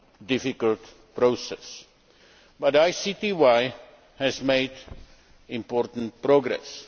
difficult, process, but the ICTY has made important progress.